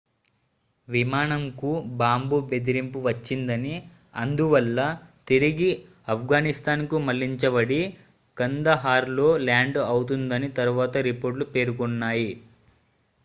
విమానంకు బాంబు బెదిరింపు వచ్చిందని అందువల్ల తిరిగి ఆఫ్ఘనిస్తాన్కు మళ్లించబడి కందహార్లో ల్యాండ్ అవుతుందని తరువాత రిపోర్ట్లు పేర్కొన్నాయి